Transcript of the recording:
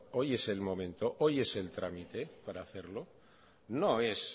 hoy es el momento hoy es el trámite para hacerlo no es